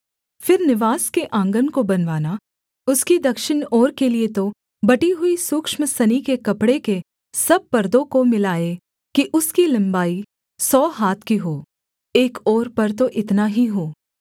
फिर निवास के आँगन को बनवाना उसकी दक्षिण ओर के लिये तो बटी हुई सूक्ष्म सनी के कपड़े के सब पर्दों को मिलाए कि उसकी लम्बाई सौ हाथ की हो एक ओर पर तो इतना ही हो